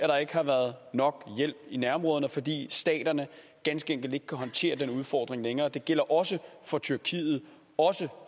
der ikke har været nok hjælp i nærområderne fordi staterne ganske enkelt ikke kan håndtere den udfordring længere det gælder også for tyrkiet også